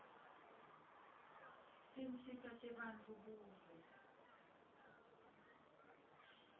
tinsita tebantfu buve